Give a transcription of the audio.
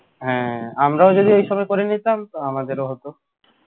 হ্যাঁ আমরা যদি এই সময় করে নিতাম তো আমাদেরও হত